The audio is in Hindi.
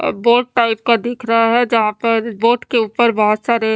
अ बोट टाइप का दिख रहा है जहां पर बोट के ऊपर बहोत सारे--